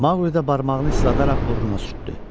Maqlidə barmağını isladaraq burnuna sürtdü.